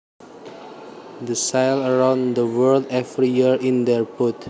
They sail around the world every year in their boat